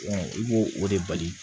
i b'o o de bali